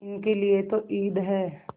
इनके लिए तो ईद है